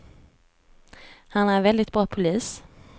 Han är en väldigt bra polis.